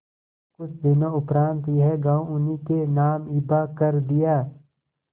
कुछ दिनों उपरांत यह गॉँव उन्हीं के नाम हिब्बा कर दिया